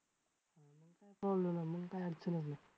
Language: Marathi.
मग काय अडचणच नाही.